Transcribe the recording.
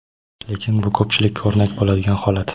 lekin bu ko‘pchilikka o‘rnak bo‘ladigan holat.